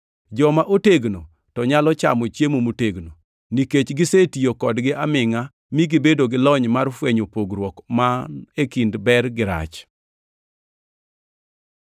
Joma otegno to nyalo chamo chiemo motegno, nikech gisetiyo kodgi amingʼa mi gibedo gi lony mar fwenyo pogruok man e kind ber gi rach.